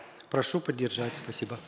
прошу поддержать спасибо